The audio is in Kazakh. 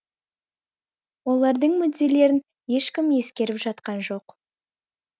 олардың мүдделерін ешкім ескеріп жатқан жоқ